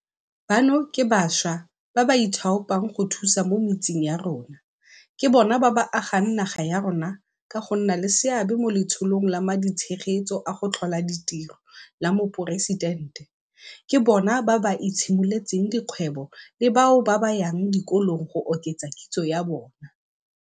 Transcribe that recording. Bano ke bašwa ba ba ithaopang go thusa mo metseng ya rona, ke bona ba ba agang naga ya rona ka go nna le seabe mo Letsholong la Maditshegetso a go Tlhola Ditiro la Moporesitente, ke bona ba ba itshimoletseng dikgwebo le bao ba yang dikolong go oketsa kitso ya bona.